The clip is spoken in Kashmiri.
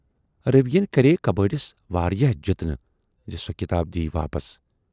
روی یَن کرییہِ کبٲڑِس واراہ جِتنہٕ زِ سۅ کِتاب دِیہِ واپس۔